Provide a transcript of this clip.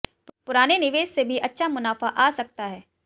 पुराने निवेश से भी अच्छा मुनाफा आ सकता है